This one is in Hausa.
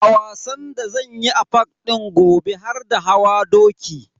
A wasan da zanyi a park din gobe har da hawa doki.